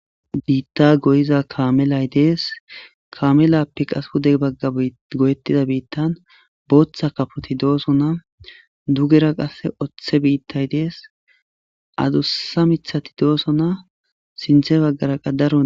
Bita goyiza kamelay dees kamelape qasi pude bagan goyetida bitani botha kapoti dosona dugera qas othe bitayi dees adusa mithati dosona sintha bagara qa daro